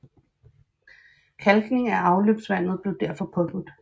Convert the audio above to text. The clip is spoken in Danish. Kalkning af afløbsvandet blev derfor påbudt